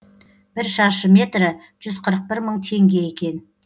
бір шаршы метрі жүз қырық бір мың теңге екен